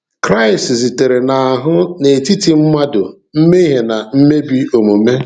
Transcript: Kristi zitere n’ahụ n’etiti mmadụ mmehie na mmebi omume.